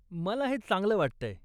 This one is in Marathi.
मला हे चांगलं वाटतंय.